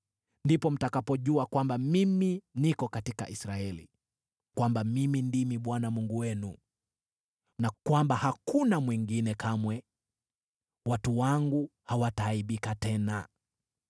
Ndipo mtakapojua kwamba mimi niko katika Israeli kwamba mimi ndimi Bwana Mungu wenu, na kwamba hakuna mwingine; kamwe watu wangu hawataaibika tena.